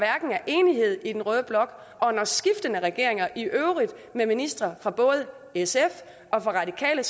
enighed i den røde blok og når skiftende regeringer i øvrigt med ministre fra både sf og radikale